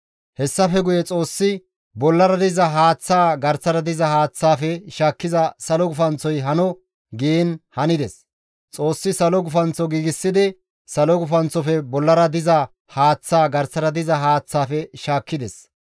Hessafe guye Xoossi, «Bollara diza haaththaa garsara diza haaththaafe shaakkiza salo gufanththoy hano» giin hanides. Xoossi salo gufanththo giigsidi, salo gufanththofe bollara diza haaththaa garsara diza haaththaafe shaakkides.